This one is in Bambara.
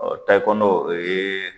Ɔ tayikɔɔndo o yee